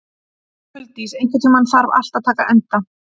Huldís, einhvern tímann þarf allt að taka enda.